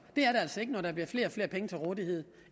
det er der altså ikke når der bliver flere og flere penge til rådighed